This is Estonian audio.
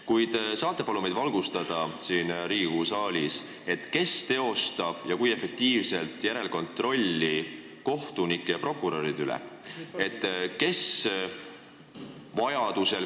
Kuid kas te saate palun meid siin Riigikogu saalis valgustada, kes teostab ja kui efektiivselt järelkontrolli kohtunike ja prokuröride üle?